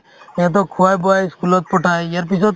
সিহঁতক খুৱাই বোৱাই ই school ত পঠাই ইয়াৰপিছত